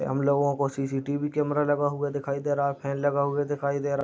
हमलोग को CCTV. Camera लगा हुआ दिखाई दे रहा है फैन लगा हुआ दिखाई दे रहा है।